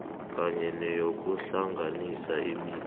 kanye neyokuhlanganisa imindeni